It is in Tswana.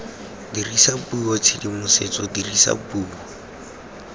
dirisa puo tshedimosetso dirisa puo